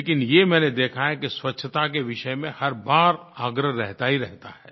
लेकिन ये मैंने देखा है कि स्वच्छता के विषय में हर बार आग्रह रहता ही रहता है